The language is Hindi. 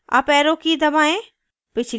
uparrow की key दबाएँ